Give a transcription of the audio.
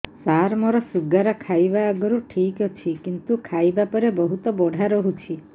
ସାର ମୋର ଶୁଗାର ଖାଇବା ଆଗରୁ ଠିକ ଅଛି କିନ୍ତୁ ଖାଇବା ପରେ ବହୁତ ବଢ଼ା ରହୁଛି